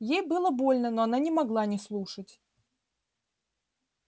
ей было больно но она не могла не слушать